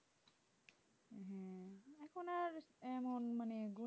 এমন মানে এগো